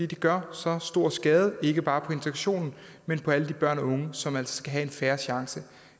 det gør så stor skade ikke bare på integrationen men på alle de børn og unge som altså skal have en fair chance